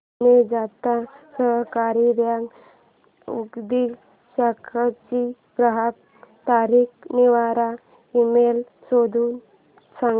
Pune Janata Sahakari Bank Udgir शाखेचा ग्राहक तक्रार निवारण ईमेल शोधून सांग